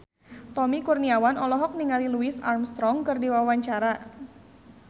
Tommy Kurniawan olohok ningali Louis Armstrong keur diwawancara